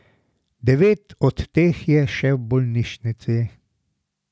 Devet od teh je še v bolnišnici.